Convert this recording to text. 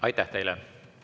Aitäh teile!